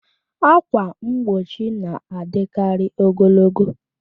Ákwà mgbochi na-adịkarị ogologo